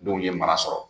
Denw ye mara sɔrɔ